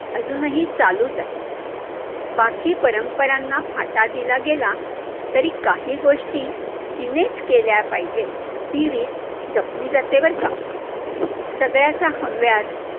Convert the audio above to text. अजूनही चालूच आहे, बाकी परपरांना फाटा दिला गेला, तरी काही गोष्टी तिनेच केल्या पाहिजेत, ही रीत जपली जाते बरं का, सगळ्याचा हव्यास